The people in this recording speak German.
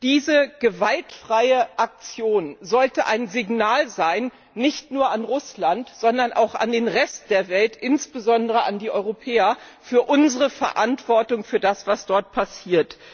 Diese gewaltfreie Aktion sollte ein Signal sein, nicht nur an Russland, sondern auch an den Rest der Welt, insbesondere an die Europäer, für unsere Verantwortung für das, was dort passiert.